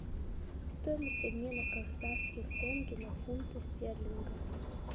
стоимость обмена казахских тенге на фунты стерлинга